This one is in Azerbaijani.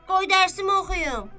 Qoy dərsmi oxuyum.